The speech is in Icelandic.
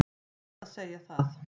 Er rétt að segja það?